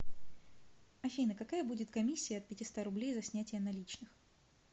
афина какая будет комиссия от пятиста рублей за снятия наличных